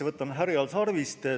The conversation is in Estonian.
Võtame siis härjal sarvist.